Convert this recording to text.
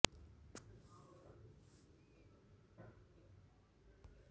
હવા અન્નનળી માં પેટ આવતા કોઈ સ્વાદ કે ગંધ ધરાવે છે